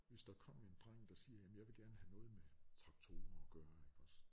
Hvis der kom en dreng der siger jamen jeg vil gerne have noget med traktorer at gøre ikke også